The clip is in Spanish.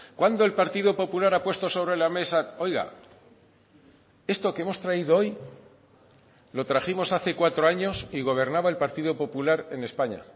cuándo el partido popular ha puesto sobre la mesa oiga esto que hemos traído hoy lo trajimos hace cuatro años y gobernaba el partido popular en españa